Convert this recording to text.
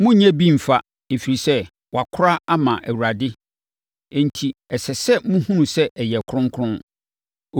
Monnyɛ bi mfa, ɛfiri sɛ, wɔakora ama Awurade enti, ɛsɛ sɛ mohunu sɛ ɛyɛ kronkron.